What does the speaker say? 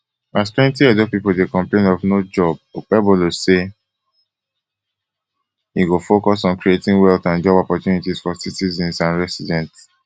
as plenti edo pipo dey complain of no job okpebolo say e go focus on creating wealth and job opportunities for citizens and residents